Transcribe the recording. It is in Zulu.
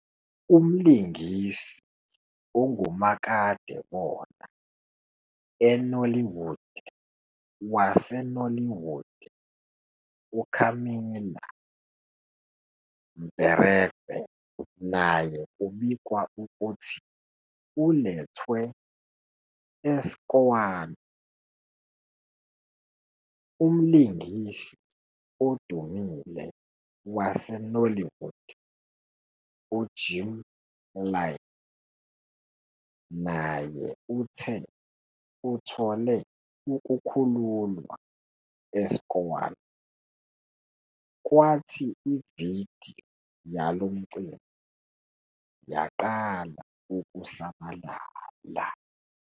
Umlingisi ongumakadebona weNollywood waseNollywood uCamilla Mberekpe naye kubikwa ukuthi ulethwe e-SCOAN.. Umlingisi odumile waseNollywood uJim Iyke naye uthe uthole ukukhululwa e-SCOAN, kwathi i-video yalo mcimbi yaqala ukusabalala.